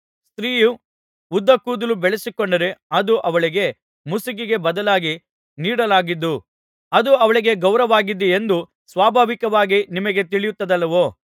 ಸ್ತ್ರೀಯು ಉದ್ದ ಕೂದಲು ಬೆಳೆಸಿಕೊಂಡರೆ ಅದು ಅವಳಿಗೆ ಮುಸುಕಿಗೆ ಬದಲಾಗಿ ನೀಡಲಾಗಿದ್ದು ಅದು ಅವಳಿಗೆ ಗೌರವವಾಗಿದೆಯೆಂದೂ ಸ್ವಾಭಾವಿಕವಾಗಿ ನಿಮಗೆ ತಿಳಿಯುತ್ತದಲ್ಲವೋ